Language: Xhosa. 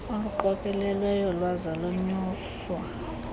oluqokelelweyo lwaza lwanyuswa